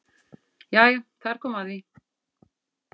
Jæja þar kom að því!